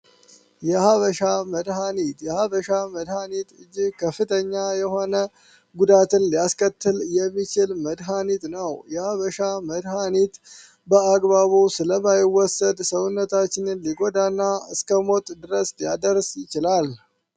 የሃ በሻ መድሃኒት የሃ በሻ መድሃኒት እጅህ ከፍተኛ የሆነ ጉዳትን ሊያስከትል የሚችል መድሃኒት ነው የሃ በሻ መድሃኒት በአግባቡ ስለማይወሰድ ሰውነታችንን ሊገዳ ና እስከሞጥ ድረስ ያደርስ ይችላል